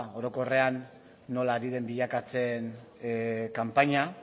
orokorrean nola ari den bilakatzen kanpaina